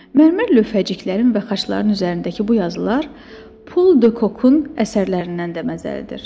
Mərmər lövhəciklərinin və xaçların üzərindəki bu yazılar Pol de Kokun əsərlərindən də məzəlidir.